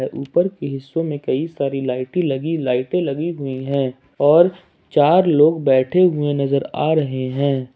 ऊपर के हिस्सों में कई सारी लाइटे लगी लाइटे लगी हुई हैं और चार लोग बैठे हुए नजर आ रहे हैं।